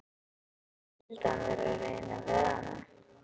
Skyldi hann vera að reyna við hana?